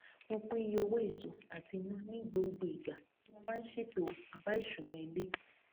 mo pín iye owó èso àti iná ní gbogbo ìgbà tí mo bá n ṣètò àbáìṣúná ilé